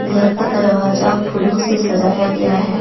घर का दरवाजा फूलो से सजाया गया है।